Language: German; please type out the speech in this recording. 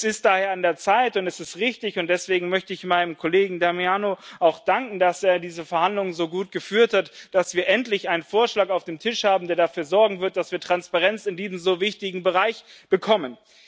Es ist daher an der Zeit, und es ist richtig und deswegen möchte ich meinem Kollegen Damiano auch danken, dass er diese Verhandlungen so gut geführt hat dass wir endlich einen Vorschlag auf dem Tisch haben, der dafür sorgen wird, dass wir in diesem so wichtigen Bereich Transparenz bekommen.